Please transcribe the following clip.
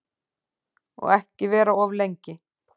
Og ekki vera of lengi.